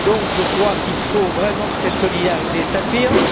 Je crois qu'il faut vraiment que cette solidarité s'affirme.